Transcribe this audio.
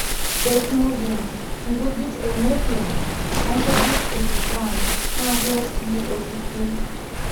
desmonium, nkujit e napier, onkujit e sudan naa keer sii olkurto